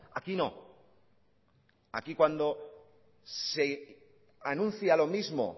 aquí no aquí cuando se anuncia lo mismo